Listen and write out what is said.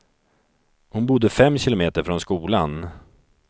Hon bodde fem kilometer från skolan.